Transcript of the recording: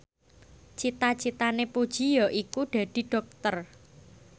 cita citane Puji yaiku dadi dokter